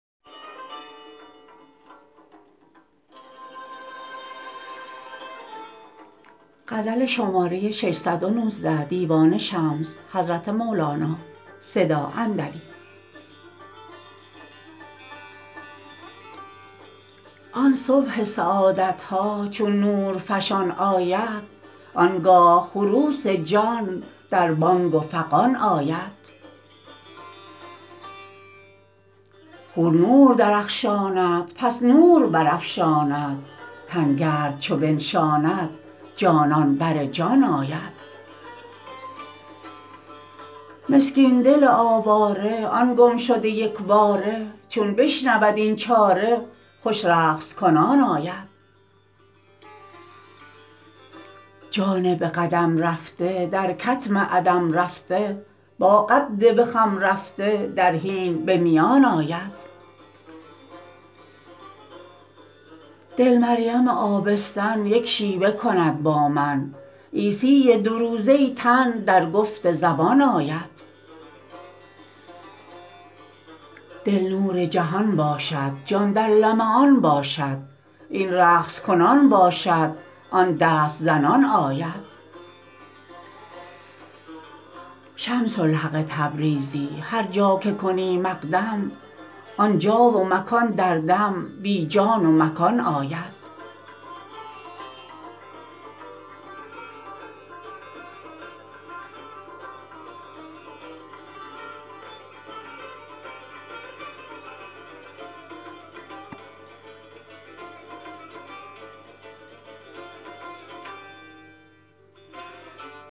آن صبح سعادت ها چون نورفشان آید آن گاه خروس جان در بانگ و فغان آید خور نور درخشاند پس نور برافشاند تن گرد چو بنشاند جانان بر جان آید مسکین دل آواره آن گمشده یک باره چون بشنود این چاره خوش رقص کنان آید جان به قدم رفته در کتم عدم رفته با قد به خم رفته در حین به میان آید دل مریم آبستن یک شیوه کند با من عیسی دوروزه تن درگفت زبان آید دل نور جهان باشد جان در لمعان باشد این رقص کنان باشد آن دست زنان آید شمس الحق تبریزی هر جا که کنی مقدم آن جا و مکان در دم بی جا و مکان باشد